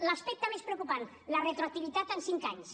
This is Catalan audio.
l’aspecte més preocupant la retroactivitat en cinc anys